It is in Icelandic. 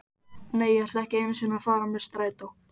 Nei, ég ætla ekki einu sinni að fara með strætó.